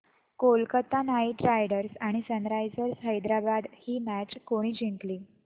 Kolkata Knight Riders आणि Sunrisers Hyderabad ही match कोणी जिंकली